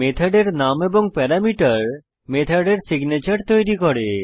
মেথডের নাম এবং প্যারামিটার মেথডের সিগনেচর তৈরী করে